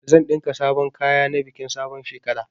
Zan ɗinka sabon kaya na bikin sabon shekara.